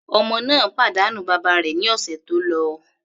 Ọmọ náà pàdánù bàbá rẹ̀ ní ọ̀sẹ̀ tó lọ.